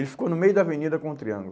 Ele ficou no meio da avenida com o triângulo.